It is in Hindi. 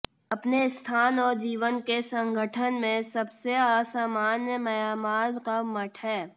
अपने स्थान और जीवन के संगठन में सबसे असामान्य म्यांमार का मठ है